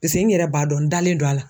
Pese n yɛrɛ b'a dɔn n dalen do a la.